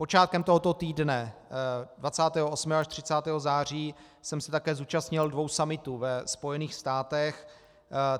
Počátkem tohoto týdne, 28. až 30. září, jsem se také zúčastnil dvou summitů ve Spojených státech.